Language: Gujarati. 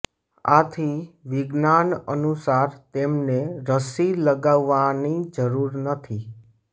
આથી વિજ્ઞાન અનુસાર તેમને રસી લગાવવાની જરુર નથી